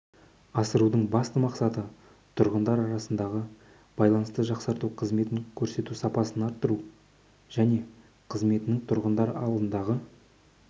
асырудың басты мақсаты тұрғындар арасындағы байланысты жақсарту қызмет көрсету сапасын арттыру және қызметінің тұрғындар алдындағы